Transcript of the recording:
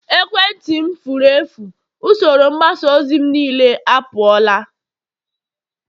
ekwentị m furu efu, usoro mgbasa ozi m niile apụọla